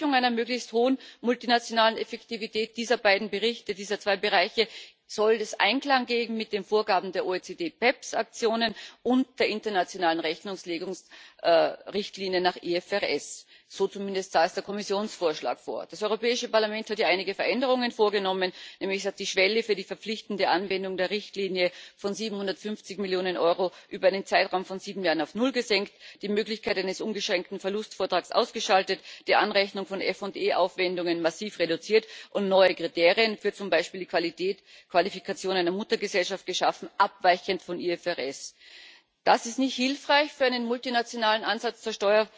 Zur Erreichung einer möglichst hohen multinationalen Effektivität dieser beiden Berichte, dieser zwei Bereiche soll es Einklang geben mit den Vorgaben der OECD PEPs Aktionen und der internationalen Rechnungslegungsrichtlinien nach den IFRS so zumindest sah es der Kommissionsvorschlag vor. Das Europäische Parlament hat hier einige Veränderungen vorgenommen, nämlich die Schwelle für die verpflichtende Anwendung der Richtlinie von 750 Millionen Euro über einen Zeitraum von sieben Jahren auf Null gesenkt, die Möglichkeit eines unbeschränkten Verlustvortrags ausgeschaltet, die Anrechnung von FuE Aufwendungen massiv reduziert und neue Kriterien zum Beispiel für die Qualifikation einer Muttergesellschaft geschaffen, abweichend von den IFRS. Das ist nicht hilfreich für einen multinationalen Ansatz zur